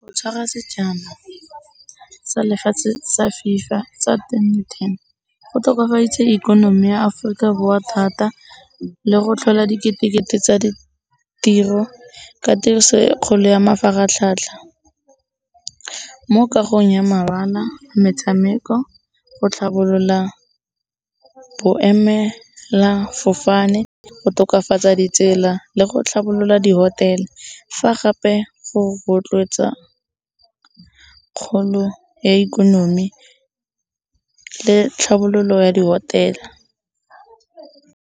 Go tshwara sejana sa lefatshe sa FIFA sa twenty-ten go tokafaditse ikonomi ya Aforika Borwa thata le go tlhola dikete-kete tsa ditiro ka tiriso e kgolo ya mafaratlhatlha. Mo kagong ya mabala, metshameko go tlhabolola boemela fofane go tokafatsa ditsela le go tlhabolola di-hotel-e. Fa gape go rotloetsa kgolo ya ikonomi le tlhabololo ya di-hotel.